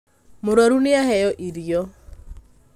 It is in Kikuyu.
Mũrwaru nĩaheo irio